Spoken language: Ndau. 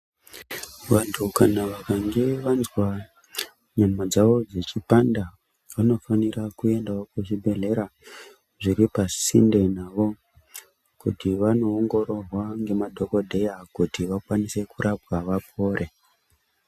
Vantu vakange vazwa nyama dzavo dzichipanda vanofanira kuenda kuzvibhedhlera zviripasinde navo kuti vano ongororwa ngemadhokodheya kuti vakwanise kurapwa vapore.